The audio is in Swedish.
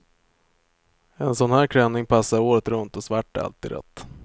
En sån här klänning passar året runt och svart är alltid rätt.